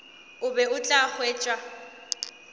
o be o tla hwetša